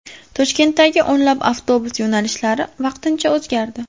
Toshkentdagi o‘nlab avtobus yo‘nalishlari vaqtincha o‘zgardi.